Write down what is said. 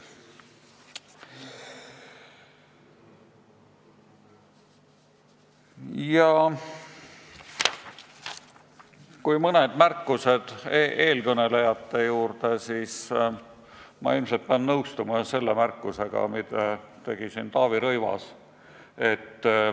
Kui teha mõned märkused eelkõnelejate jutu juurde, siis ma pean nõustuma selle märkusega, mille tegi siin Taavi Rõivas.